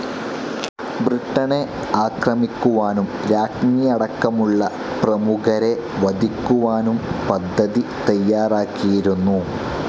ബ്രിട്ടനെ ആക്രമിക്കുവാനും രാജ്ഞിയടക്കമുള്ള പ്രമുഖരെ വധിക്കുവാനും പദ്ധതി തയ്യാറാക്കിയിരുന്നു.